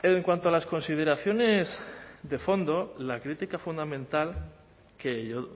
en cuanto a las consideraciones de fondo la crítica fundamental que yo